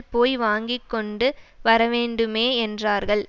போய் வாங்கி கொண்டு வரவேண்டுமே என்றார்கள்